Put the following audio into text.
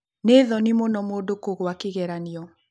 Nĩ thonĩ mũno mũndũ kũgũa kĩgeranĩo